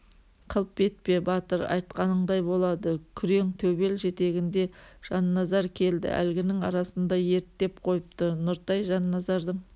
қылп етпе батыр айтқаныңдай болады күрең төбел жетегінде жанназар келді әлгінің арасында ерттеп қойыпты нұртай жанназардың